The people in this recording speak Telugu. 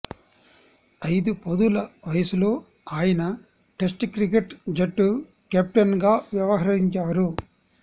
ఐదు పదుల వయసులో ఆయన టెస్ట్ క్రికెట్ జట్టు కెప్టెన్గా వ్యవహరించారు